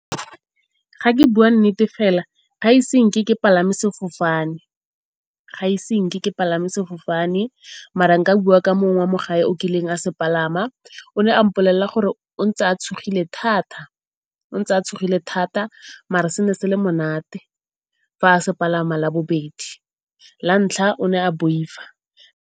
Fa ke bua nnete fela gaise ke palame sefofane, mara nka bua ka mongwe wa mo gae o ileng a se palama. O ne a mpolelela gore o ntse a tshogile thata mare se ne se le monate fa a se palama la bobedi, la ntlha o ne a boifa.